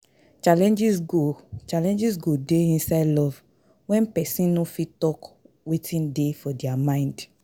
Challenges go Challenges go dey inside love when persin no fit talk wetin dey for their mind